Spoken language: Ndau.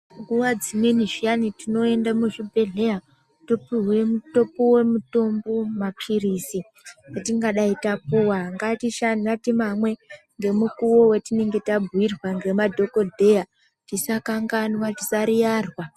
Nguva dzimweni zviyani tinoenda muzvibhehlera topiwe mutombo mapiritsi atingadai tapiwa ngatimanwe ngemukuwo watinenge tabhuyirwa nemadhokodheya tisakanganwa tisayiyarwa.